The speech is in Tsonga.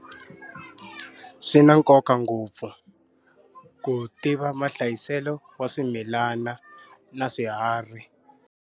Swi na nkoka ngopfu ku tiva mahlayiselo wa swimilana na swiharhi.